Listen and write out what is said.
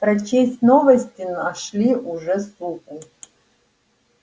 прочесть новости нашли уже суку